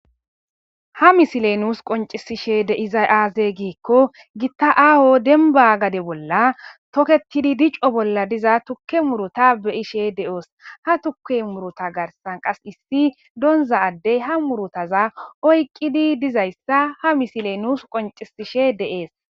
ha misile nuus qoncisishe deizay aaze giikko gitta aaho denba gade bolla toketidi dico bolla diza tukke muruta beyishe de7oos ha tuke muruta garsan qas issi donza addey ha murutaza oyqqidi dizayssa ha misile nuus qoncisishe deees